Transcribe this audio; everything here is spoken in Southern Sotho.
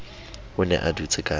o ne a dutse ka